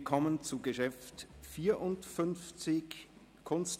Wir kommen zum Traktandum 54, «